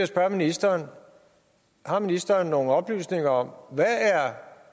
spørge ministeren har ministeren nogle oplysninger om hvad